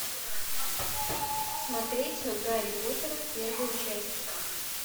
смотреть гарри поттера первую часть